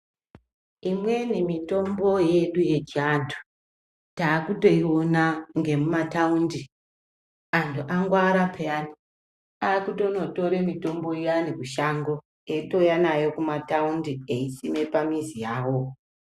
Imweni mitombo yedu yechi antu takuto iwona ngemu mataundi antu angwara peyani akutono tore mutombo iyani kushango eyito uya nayo kuma taundi eyi sime pamizi yavo.